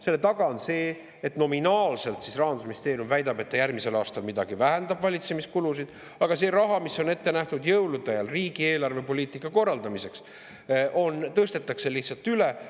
Selle taga on see, et nominaalselt Rahandusministeerium väidab, et ta vähendab järgmisel aastal midagi, valitsemiskulusid, aga see raha, mis on ette nähtud jõulude ajal riigi eelarvepoliitika korraldamiseks, tõstetakse lihtsalt üle.